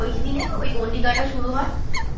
ওই দিনে ওই গন্ডি কাটা শুরু হয়